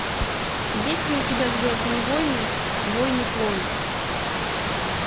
есть ли у тебя звездные войны войны клонов